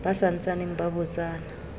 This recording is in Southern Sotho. ba sa ntsaneng ba botsana